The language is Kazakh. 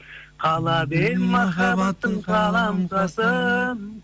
қалап ем махаббаттың қаламқасын